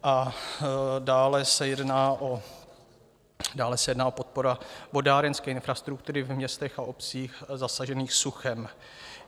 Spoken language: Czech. A dále se jedná o podporu vodárenské infrastruktury ve městech a obcích zasažených suchem.